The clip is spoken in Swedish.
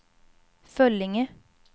Föllinge